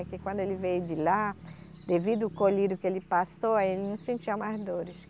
Porque quando ele veio de lá, devido o colírio que ele passou, aí ele não sentia mais dores.